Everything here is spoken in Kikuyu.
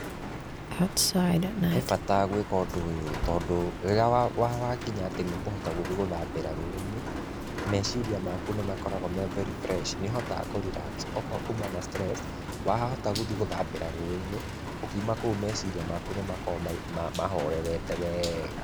He bata gwĩka ũndũ ũyũ tondũ rĩrĩa wakinya nĩ ũkũhota gũthiĩ gwĩthambĩra rũĩ-inĩ, meciria maku nĩ makoragwo me very fresh nĩ ũhotaga kũ relax, okorwo kuma na stress wahota gũthiĩ gũthambĩra rũi-inĩ ũkiuma kou meciria maku nĩ makoragwo mahorerete wega.